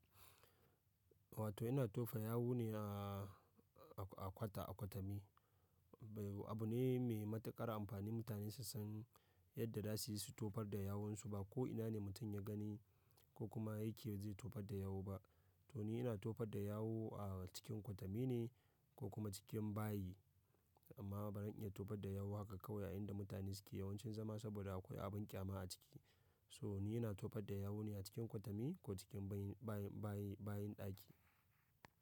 Wato ina tofa yawu ne a-a kwata, a kwatami. Bayi abu ne mai matuƙar amfani mutane su san yadda da zasuyi su tofar da yawan su. Ba ko ina ne mutum ya gani ko kuma yake je tofar da yawo kuma to ni ina tofar da yawu a cikin kwatami ne ko kuma cikin bayi. Amma baran in iya tofar da yawu haka kawai a inda mutane suke yawancin zama saboda akwai abin ƙyama a ciki. So ni ina tofar da yawu ne a cikin kwatami ko cikin bayin-bayin-bayin-bayin ɗaki.